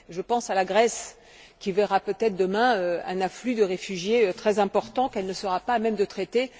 Je pense à la Grèce, qui verra peut être demain un afflux de réfugiés très important, qu'elle ne sera pas à même de traiter.